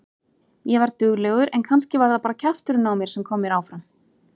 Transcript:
Ég var duglegur en kannski var það bara kjafturinn á mér sem kom mér áfram.